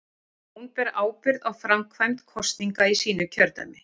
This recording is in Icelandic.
Hún ber ábyrgð á framkvæmd kosninga í sínu kjördæmi.